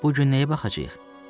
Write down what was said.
Bu gün nəyə baxacağıq?